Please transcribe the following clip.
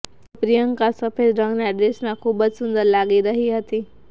તો પ્રિયંકા સફેદ રંગના ડ્રેસમાં ખૂબ જ સુંદર લાગી રહી હતી